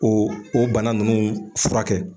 O o bana nunnu fura kɛ.